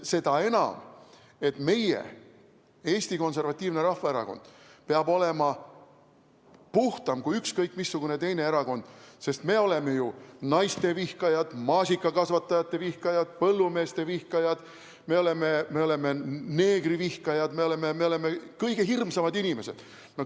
Seda enam, et meie, Eesti Konservatiivne Rahvaerakond, peame olema puhtam kui ükskõik missugune teine erakond, sest me oleme ju naistevihkajad, maasikakasvatajate vihkajad, põllumeeste vihkajad, me oleme neegrivihkajad, me oleme kõige hirmsamad inimesed.